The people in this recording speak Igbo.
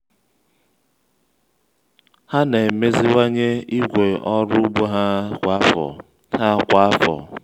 ha na-emeziwanye igwe ọrụ ugbo ha kwa afọ. ha kwa afọ.